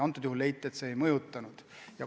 Antud juhul leiti, et ei mõjutanud.